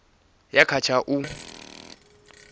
ya kha tsha u a